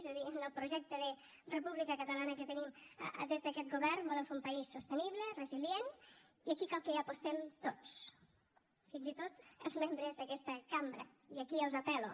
és a dir en el projecte de república catalana que tenim des d’aquest govern volem fer un país sostenible resilient i aquí cal que hi apostem tots fins i tot els membres d’aquesta cambra i aquí els apel·lo